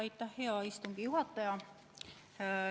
Aitäh, hea istungi juhataja!